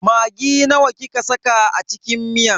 Maggi nawa kika saka a cikin miyan?